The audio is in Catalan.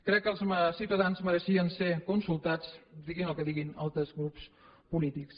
crec que els ciutadans mereixien ser consultats diguin el que siguin altres grups polítics